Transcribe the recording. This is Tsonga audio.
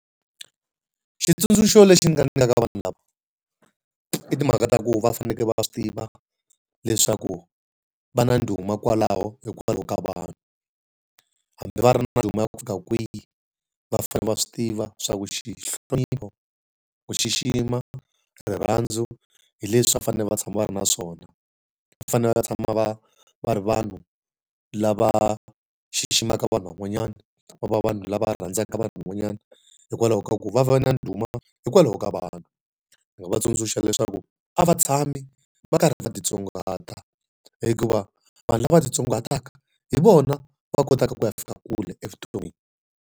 Xitsundzuxo lexi nga nyikaka vanhu lava, i timhaka ta ku va faneleke va swi tiva leswaku va na ndhuma kwalaho hikwalaho ka vanhu. Hambi va ri na ndhuma ya ku fika kwihi, va fanele va swi tiva leswaku ku xixima, rirhandzu, hi leswi va fanele va tshama va ri na swona. Va fanele va tshama va va ri vanhu lava xiximaka vanhu van'wanyana, va va vanhu lava rhandzaka ka van'wanyana, hikwalaho ka ku va va na ndhuma hikwalaho ka vanhu. Ni nga va tsundzuxa leswaku a va tshami va karhi va ti tsongahata, hikuva vanhu lava ti tsongahataka hi vona va kotaka ku ya fika kule evuton'wini.